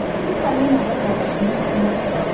İndi Falina da qardaşını dilə tuturdu.